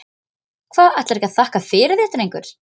Hvað, ætlarðu ekki að þakka fyrir þig drengur?